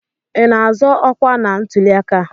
Ị na-azọ ọkwa na ntuliaka a?